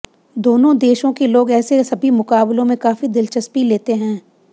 दोनों देशों के लोग ऐसे सभी मुकाबलों में काफी दिलचस्पी लेते हैं